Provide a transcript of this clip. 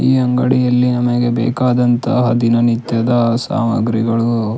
ಈ ಅಂಗಡಿಯಲ್ಲಿ ನಮಗೆ ಬೇಕಾದಂತಹ ದಿನ ನಿತ್ಯದ ಸಾಮಗ್ರಿಗಳು.